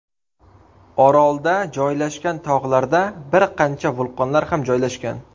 Orolda joylashgan tog‘larda bir qancha vulqonlar ham joylashgan.